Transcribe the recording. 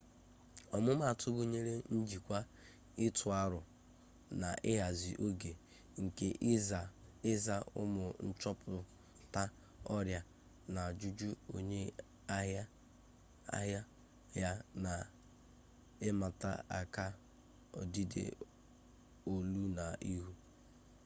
ọmumatụ gụnyere njikwa ịtụ arọ na ịhazi oge ike ịza ụmụ nchọpụta ọrịa na ajụjụ onye ahịa ya na ịmata aka odide olu na ihu